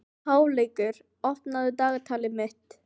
Háleygur, opnaðu dagatalið mitt.